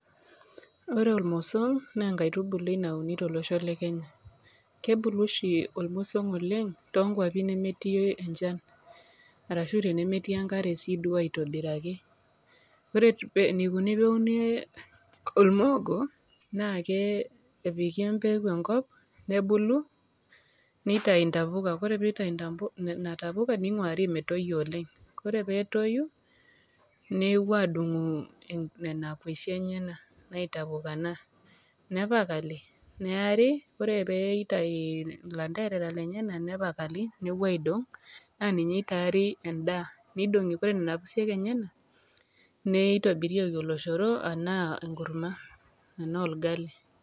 ore ormosol naa enkaitubului nauni to losho le kenya kebulu oshi ormosom oleng' too nkwapi nemetii enchan arashu too nkwapi nemetii enkare aitobiraki ore enikoni peeuni ormogo nna ke epiki empeku enkop nebulu nitayu intapuka ore peitayu nena tapuka neingwari metoyio oleng ore peetoyu nepuo aadungu nena tapuka enye nepakali neeri ore peitayu ilanterera lenyenak nepuoi aidong' naa ninye eitaari end'aa neiding' ore nena pusiek enyena neitobirieki oloshoro anaa enkurma anaa orgali.